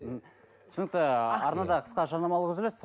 ммм түсінікті арнада қысқа жарнамалық үзіліс